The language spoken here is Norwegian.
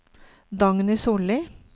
Dagny Solli